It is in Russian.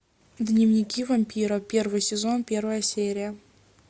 дневники вампира первый сезон первая серия